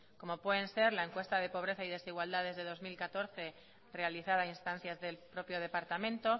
como pueden ser la encuesta de pobreza y desigualdades del dos mil catorce realizada a instancias del propio departamento